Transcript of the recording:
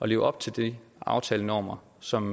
leve op til de aftalenormer som